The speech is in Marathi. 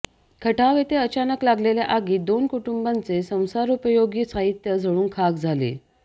खटाव येथे अचानक लागलेल्या आगीत दोन कुटुंबांचे संसारोपयोगी साहित्य झळून खाक झाले